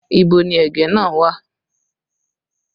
Ibo ni ẹ̀gẹ́ náà wà?